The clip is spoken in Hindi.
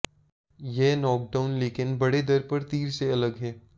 यह नॉकडाउन लेकिन बड़े दर पर तीर से अलग है